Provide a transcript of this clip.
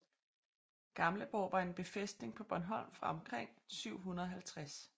Gamleborg var en befæstning på Bornholm fra omkring 750